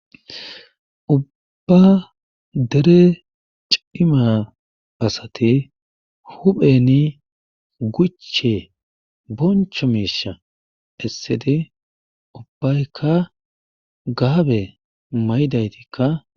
Ubba dere cimma asati huuphen guche boncho miishsha essidi ubaykka gaabe maydaytikka